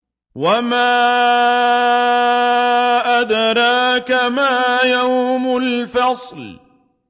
وَمَا أَدْرَاكَ مَا يَوْمُ الْفَصْلِ